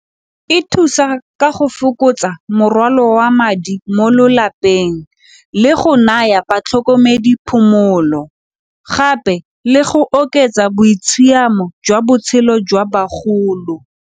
E thusa ka go fokotsa morwalo wa madi mo lelapeng le go naya batlhokomedi phomolo gape le go oketsa boitshiamo jwa botshelo jwa bagolo.